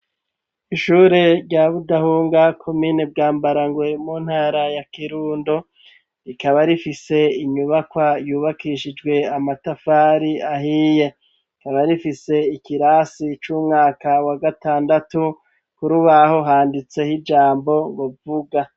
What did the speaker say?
Ishure rya budahunga komine bwa mbarangwe mu ntara ya kirundo, rikaba rifise inyubakwa yubakishijwe amatafari ahiye rikaba rifise ikirasi c'umwaka wa gatandatu kurubaho handitse ijambo ngo vuga.